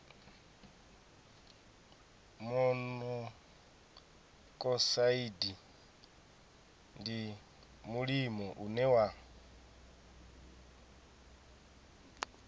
monokosaidi ndi mulimo une wa